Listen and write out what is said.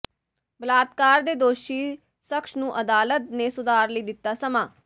ਬਲਾਤਕਾਰ ਦੇ ਦੋਸ਼ੀ ਸ਼ਖਸ ਨੂੰ ਅਦਾਲਤ ਨੇ ਸੁਧਾਰ ਲਈ ਦਿੱਤਾ ਸਮਾਂ